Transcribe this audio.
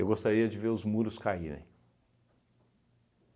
gostaria de ver os muros caírem.